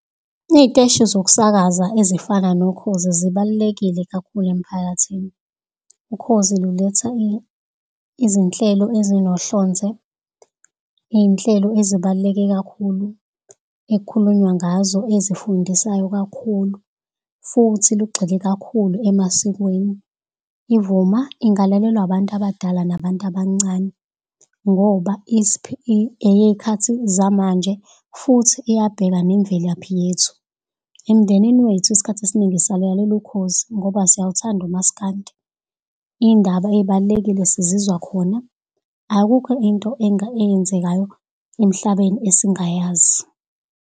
Kuney'teshi zokusakaza ezifana noKhozi zibalulekile kakhulu emphakathini. UKhozi luletha izinhlelo ezinohlonze, iy'nhlelo ezibaluleke kakhulu ekhulunywa ngazo, azifundisayo kakhulu futhi lugxile kakhulu emasikweni. IVuma ingalalelwa abantu abadala nabantu abancane, ngoba eyekhathi zamanje futhi iyabheka nemvelaphi yethu. Emndenini wethu iskhathi esiningi sisalalela uKhozi, ngoba siyawuthanda uMaskandi. Iy'ndaba ey'balulekile sizizwa khona. Akukho into eyenzekayo emhlabeni esingayazi.